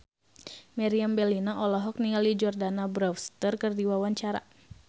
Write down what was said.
Meriam Bellina olohok ningali Jordana Brewster keur diwawancara